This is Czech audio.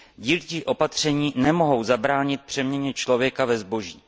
Dílčí opatření nemohou zabránit přeměně člověka ve zboží.